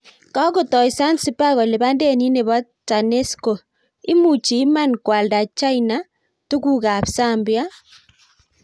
Kagotai zanzibar kolipan denit nebo TANESCO, imuchi iman koalda china ,tuguk ap zambia?